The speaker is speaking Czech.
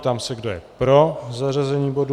Ptám se, kdo je pro zařazení bodu.